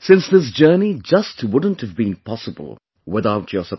since this journey just wouldn't have been possible without your support